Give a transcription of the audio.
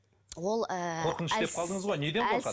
ол ыыы қорқыныш деп қалдыңыз ғой неден қорқады